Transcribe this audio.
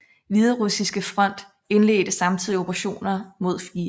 Hviderussiske front indledte samtidig operationer mod 4